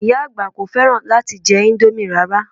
Ìyá àgbà kò fẹ́ràn láti jẹ indomie rara